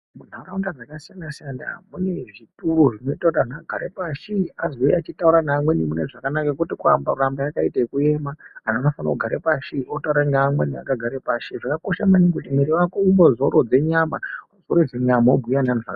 Munharaunda dzakasiyana-siyana mune zvituru zvinoita kuti antu agare pashi azouya echitaura neamweni mune zvakanaka kwete kuramba akaite ekuema, antu anofane kugara pashi wotaura neanhu wakagare pashi. Zvakakosha maningi kuti mwiiri wako umbozorodze nyama , wazorodze nyama wobhuya veanhu zva...